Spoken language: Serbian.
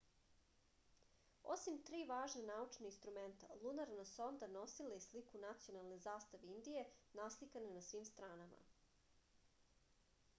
osim tri važna naučna instrumenta lunarna sonda nosila je i sliku nacionalne zastave indije naslikane na svim stranama